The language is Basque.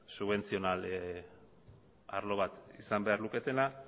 subentzional arlo bat izan behar luketena